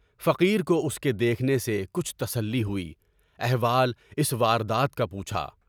فقیر کو اس کے دیکھنے سے کچھ تسلی ہوئی، احوال اس واردات کا پوچھا ۔